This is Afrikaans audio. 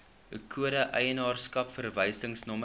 kode eienaarskap verwysingsnommer